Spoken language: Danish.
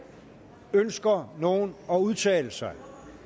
ønsker nogen at udtale sig